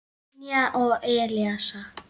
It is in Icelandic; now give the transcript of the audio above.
Brynjar og Elsa.